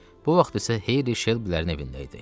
Bu vaxt isə Heyli Şelbülərin evində idi.